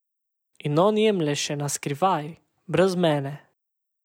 In on jemlje še na skrivaj, brez mene.